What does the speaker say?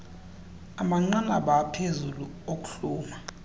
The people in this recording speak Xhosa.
amanqanaba aphezulu okuhluma